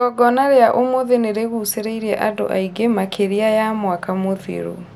Igogona rĩa ũmũthĩ nĩrĩgũcĩrĩirie andũ aingĩ makĩria ya mwaka mũthiru